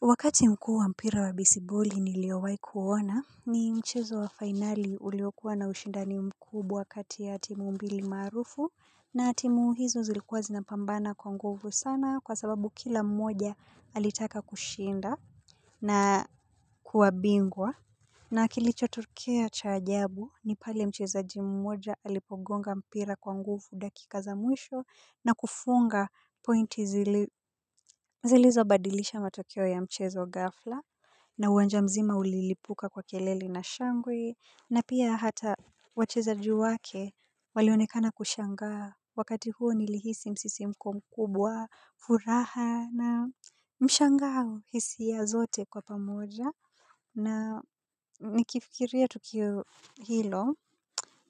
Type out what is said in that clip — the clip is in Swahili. Wakati mkuu wa mpira wa besiboli niliowahi kuona ni mchezo wa fainali uliokuwa na ushindani mkubwa wakati ya timu mbili maarufu na timu hizo zilikuwa zinapambana kwa nguvu sana kwa sababu kila mmoja alitaka kushinda na kuwa bingwa. Na kilichotokea cha ajabu ni pale mchezaji mmoja alipogonga mpira kwa nguvu dakika za mwisho na kufunga pointi zilizobadilisha matokeo ya mchezo gafla na uwanja mzima ulilipuka kwa kelele na shangwe na pia hata wachezaji wake walionekana kushangaa wakati huo nilihisi msisimko mkubwa furaha na mshangao hisia zote kwa pamoja. Na nikifikiria tukio hilo